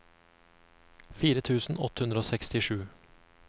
fire tusen åtte hundre og sekstisju